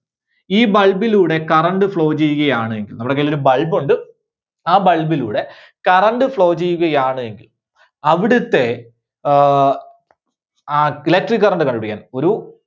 ഈ bulb ലൂടെ current flow ചെയ്യുകയാണ് എങ്കിൽ നമ്മുടെ കൈയിൽ ഒരു bulb ഉണ്ട്. ആ bulb ലൂടെ current flow ചെയ്യുകയാണ് എങ്കിൽ അവിടുത്തെ ആഹ് ആ electric current ചെയ്യാൻ ഒരു